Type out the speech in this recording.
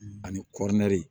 Ani kɔri